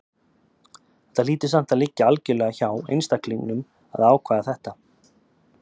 Þetta hlýtur samt að liggja algjörlega hjá einstaklingnum að ákveða þetta.